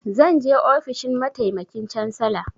Zan je ofishin mataimakin cansala.